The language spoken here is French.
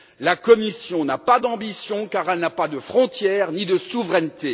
La Commission n'a pas d'ambition, car elle n'a pas de frontières, ni de souveraineté.